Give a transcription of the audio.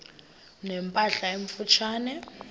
ne mpahla emfutshane